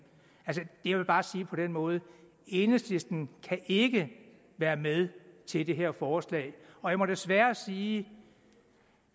jeg vil bare sige det på den måde enhedslisten kan ikke være med til det her forslag og jeg må desværre sige